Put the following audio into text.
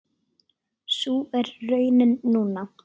Sú er raunin núna.